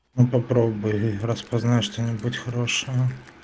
ну попробуй распознай что-нибудь хорошего